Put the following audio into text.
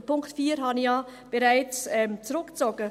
Den Punkt 4 habe ich ja bereits zurückgezogen.